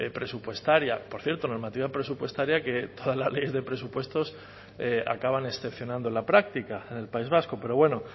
presupuestaria por cierto normativa presupuestaria que todas las leyes de presupuestos acaban excepcionando en la práctica en el país vasco pero bueno